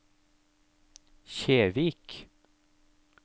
Kjevik